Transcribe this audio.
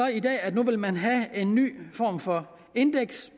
i dag at nu vil man have en ny form for indeks